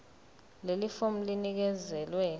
leli fomu linikezelwe